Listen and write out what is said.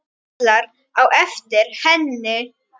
Kallar á eftir henni.